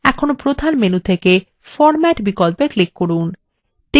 এখন প্রধান menu থেকে format বিকল্পে click করুন